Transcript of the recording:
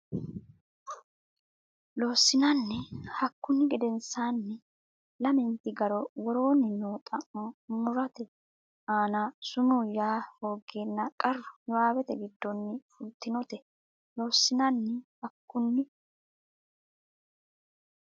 Loossinanni Hakkunni gedensaanni lamenti garo woroonni noo xa mo murote aana sumuu yaa hooggeenna qarru niwaawete giddonni fultinote Loossinanni Hakkunni.